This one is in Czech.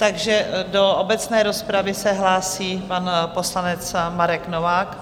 Takže do obecné rozpravy se hlásí pan poslanec Marek Novák.